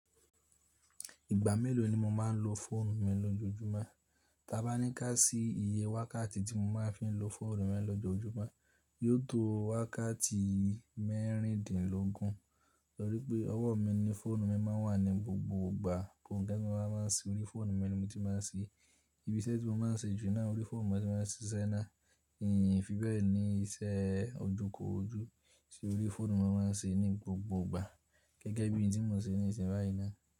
Ìgbà mélòó ni mo máa ń lo fóònù mi lọ́jọjúmọ́? Tí a bá ní ká sí iye wákàtí tí mo máa ń fi ń lo fóònù mi lọ́jọjúmọ́, yóò tó wákàtí mẹ́rìndínlógún, torí pé ọwọ́ mi ni fóònù mi máa ń wà ní gbogbo ìgbà. Ohunkan tí mo rorá máa ń ṣe lorí fóònù mi ni mo ti máa ń ṣe. Ibi isẹ́ tí mo máa ń ṣe jù náà orí fóònù mo ti máa ń ṣe iṣẹ́ iná. Ìn fi bẹ́ẹ̀ ni iṣẹ́ ojú korójú iṣe orí fóònù mo máa ń ṣe ní gbogbo ìgbà, gẹ́gẹ́ bí oun tí mo ṣe ní ìsìn báyí náà.